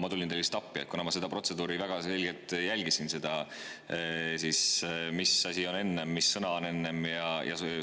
Ma tulin teile lihtsalt appi, kuna ma jälgisin väga seda protseduuri, mis asi oli enne, mis sõna oli enne.